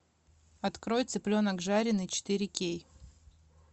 открой цыпленок жареный четыре кей